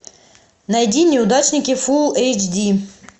найди неудачники фул эйч ди